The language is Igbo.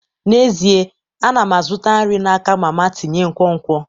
N'ezie, ana m azụta nri n'aka mama tinye nkwonkwo.